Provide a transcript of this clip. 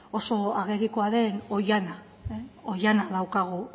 oso agerikoa den oihana oihana daukagu